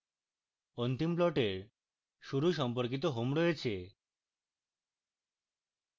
অন্তিম প্লটের শুরু সম্পর্কিত home রয়েছে